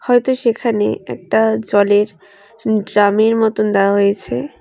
হয়তো সেখানে একটা জলের ড্রামের মতন দেওয়া হয়েছে।